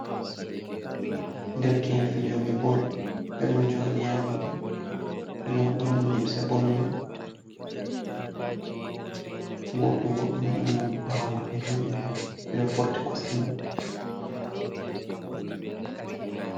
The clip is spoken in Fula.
Derke'en fijo ɓe bol, ɓe ɗon joɗi ha leddi, ɓe ɗon ɓorni limse bol man. Goto bo ɗon bawo maɓɓe jodi hanko fuu ɓe ɗo forti kosɗe mai.